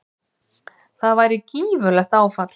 Það væri gífurlegt áfall.